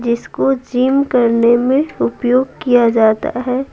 जिसको जिम करने में उपयोग किया जाता है।